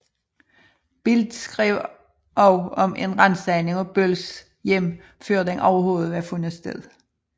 Bild skrev også om en ransagning af Bölls hjem før den overhovedet var fundet sted